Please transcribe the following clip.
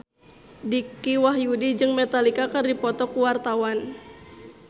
Dicky Wahyudi jeung Metallica keur dipoto ku wartawan